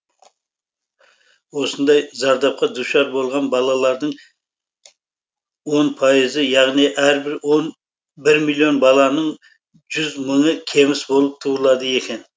осындай зардапқа душар болған балалардың он пайызы яғни әрбір бір миллион баланың жүз мыңы кеміс болып туылады екен